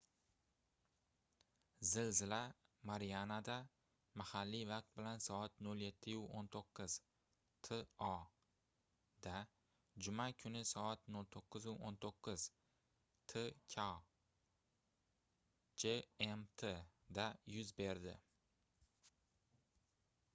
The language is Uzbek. zilzila marianada mahalliy vaqt bilan soat 07:19 to da juma kuni soat 09:19 tk gmt da yuz berdi